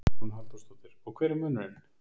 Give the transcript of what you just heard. Hugrún Halldórsdóttir: Og hver var munurinn?